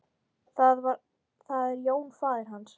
Það er Jón faðir hans.